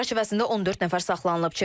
İstinq çərçivəsində 14 nəfər saxlanılıb.